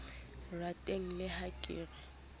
rateng le ha ke re